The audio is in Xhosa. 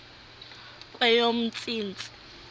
kweyomntsintsi